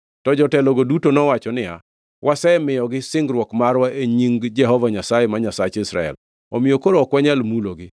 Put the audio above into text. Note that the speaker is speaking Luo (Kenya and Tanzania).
to jotelogo duto nowacho niya, “Wasemiyogi singruok marwa e nying Jehova Nyasaye, ma Nyasach Israel, omiyo koro ok wanyal mulogi.